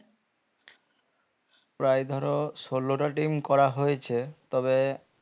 প্রায় ধরো ষোলো টা team করা হয়েছে তবে